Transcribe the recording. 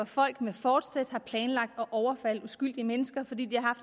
folk med forsæt har planlagt at overfalde uskyldige mennesker fordi de har